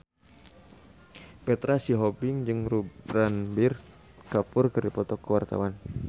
Petra Sihombing jeung Ranbir Kapoor keur dipoto ku wartawan